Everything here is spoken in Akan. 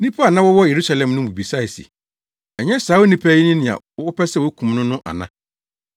Nnipa a na wɔwɔ Yerusalem no mu bi bisae se, “Ɛnyɛ saa onipa yi ne nea wɔpɛ sɛ wokum no no ana?